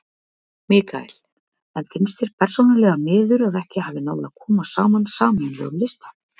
Mikael: En finnst þér persónulega miður að ekki hafi náð að koma saman sameiginlegum lista?